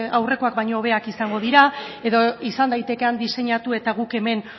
aurrekoak baino hobeak izango dira edo izan daiteke han diseinatu eta guk hemen